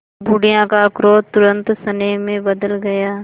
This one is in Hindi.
बुढ़िया का क्रोध तुरंत स्नेह में बदल गया